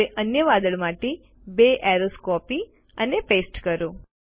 હવે અન્ય વાદળ માટે બે એરોઝ કોપી અને પેસ્ટ કરો